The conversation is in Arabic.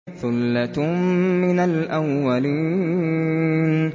ثُلَّةٌ مِّنَ الْأَوَّلِينَ